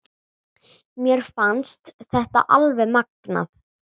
Mér fannst þetta alveg magnað.